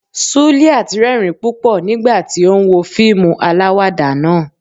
suliat rerín pupọ nígbàtí tí o n wo fiimú aláwádà naa